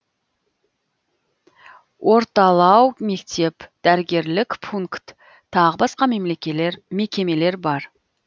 орталау мектеп дәрігерлік пункт тағы басқа мекемелер бар